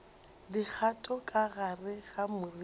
dikgato ka gare ga moriti